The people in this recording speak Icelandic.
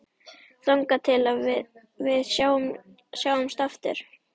Þangað til við sjáumst aftur.